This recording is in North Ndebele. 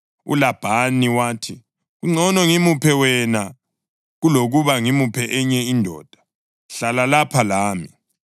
ULabhani wathi, “Kungcono ngimuphe wena kulokuba ngimuphe enye indoda. Hlala lapha lami.”